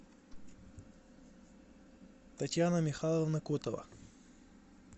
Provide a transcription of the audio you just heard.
татьяна михайловна котова